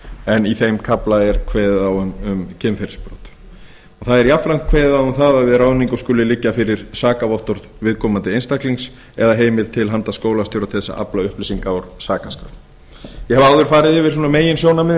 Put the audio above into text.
en í þeim kafla er kveðið á um kynferðisbrot er þar jafnframt kveðið á um að við ráðningu skuli liggja fyrir sakavottorð viðkomandi einstaklings eða heimild til handa skólastjóra til að afla upplýsinga úr sakaskrá ég hef áður farið yfir meginsjónarmiðin